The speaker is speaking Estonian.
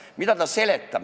Mida ta seletab?